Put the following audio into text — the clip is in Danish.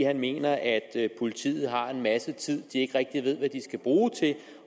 han mener at politiet har en masse tid de ikke rigtig ved hvad de skal bruge til